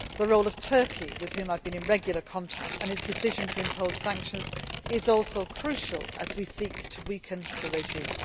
The role of Turkey, with which I have been in regular contact, and its decision to impose sanctions is also crucial as we seek to weaken the regime.